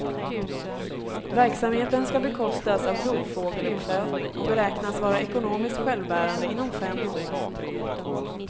Verksamheten skall bekostas av rovfågeluppfödning och beräknas vara ekonomiskt självbärande inom fem år.